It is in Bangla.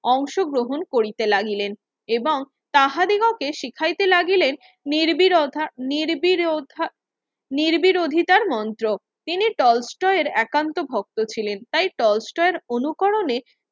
অংশ গ্রহণ করিতে লাগিলেন এবং তাহাদিগকে শিখাইতে লাগিলেন নির্বিরতা নির্বিরতা নির্বিরধীতার মন্ত্র তিনি একান্ত ভক্ত ছিলেন তাই অনুকরণে